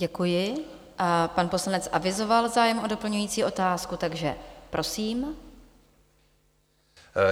Děkuji a pan poslanec avizoval zájem o doplňující otázku, takže prosím.